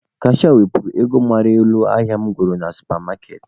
Kashịa wepụrụ m ego mara n'elu ahịa mụ goro na supa maaketị.